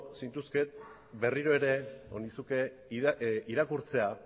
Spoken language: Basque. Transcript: zintuzkeen berriro ere irakurtzea